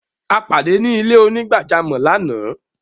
A padé ni ilẹ̀-onígbàjàmọ́ lána.